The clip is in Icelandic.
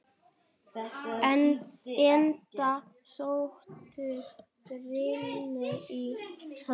Enda sóttu börnin í hann.